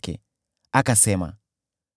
Kisha akasema: